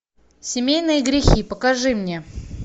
семейные грехи покажи мне